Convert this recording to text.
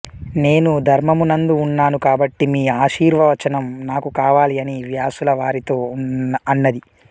నేను ధర్మమునందు ఉన్నాను కాబట్టి మీ ఆశీర్వచనం నాకు కావాలి అని వ్యాసులవారితో అన్నది